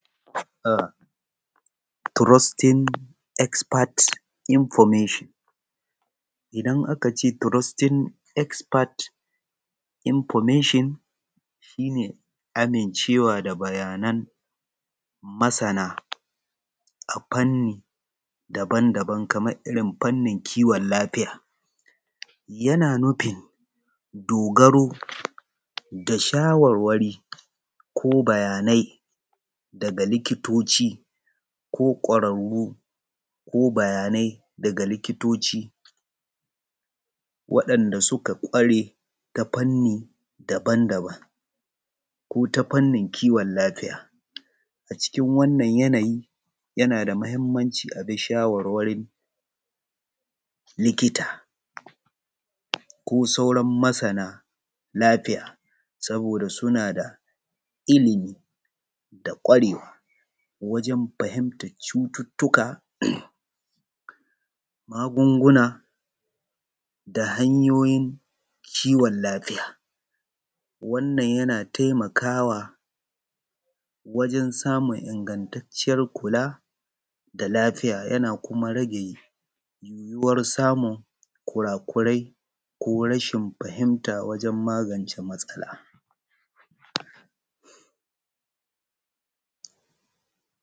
Trusting Expect Information, idan aka ce trusting expect information shi ne ami cewa da bayanan masana a fanni daban-daban kamar irin fannin kiwon lafiya. Yana nufin dogaro da shawarwari ko bayanai daga likitoci ko ƙwararru waɗanda suka ƙware ta fani daban-daban ko wanda suka ƙware a fannin kiwon lafiya. A cikin wannan yanayi yana da mahimmanci a bi shawarwarin likita ko sauran masana lafiya, saboda suna da ilimi da kwarewa wajen fahimtar cututtuka magunguna da ha yoyin kiwon lafiya. Wannan yana taimakawa wajen samu ingantacviyar kula da lafiya ya kuma rage yiwuwar samun kurakurai ko rashin fahimta wajen magance matsala.